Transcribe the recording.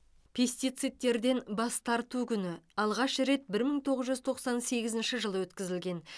пестицидтерден бас тарту күні алғаш рет бір мың тоғыз жүз тоқсан сегізінші жылы өткізілген